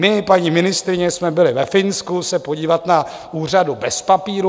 My, paní ministryně, jsme byli ve Finsku se podívat na úřadu bez papírů.